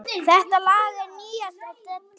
Þetta lag er nýjasta dellan.